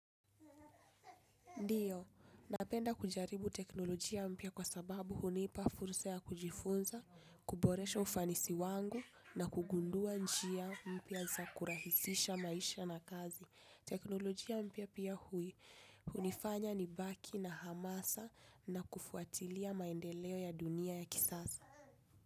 Ndiyo, napenda kujaribu teknolojia mpya kwa sababu hunipa fursa ya kujifunza, kuboresha ufanisi wangu na kugundua njia mpya za kurahizisha maisha na kazi. Teknolojia mpya pia hui, hunifanya ni baki na hamasa na kufuatilia maendeleo ya dunia ya kisasa.